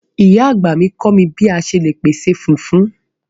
Ìyá àgbà mi kọ mi bi a ṣe le pese fufu